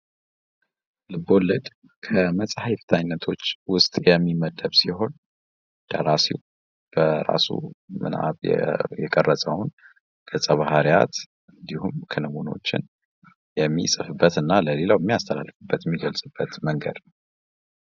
ልብወለድ ከመጻህፍት አይነቶች ውስጥ የሚመደብ ሲሆን ደራሲው ምናብ የቀረጸውን ገፀ ባህርያትንበት እንዲሁም ክንውኖችን እና የሚጽፍበት ለሌለው የሚያስተላልፉበት የሚገልጽበት መንገድ ነው።